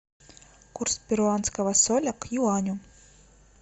курс перуанского соля к юаню